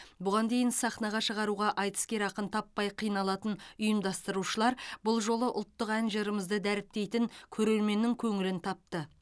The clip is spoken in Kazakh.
бұған дейін сахнаға шығаруға айтыскер ақын таппай қиналатын ұйымдастырушылар бұл жолы ұлттық ән жырымызды дәріптейтін көрерменнің көңілін тапты